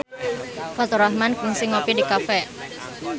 Faturrahman kungsi ngopi di cafe